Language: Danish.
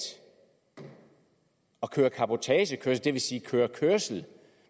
at køre cabotagekørsel det vil sige kørsel kørsel